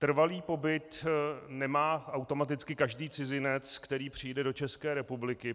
Trvalý pobyt nemá automaticky každý cizinec, který přijde do České republiky.